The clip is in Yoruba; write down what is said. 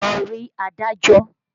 Lọ rí adájọ́!